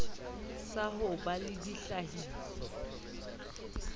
sa ho ba le ditlhahiso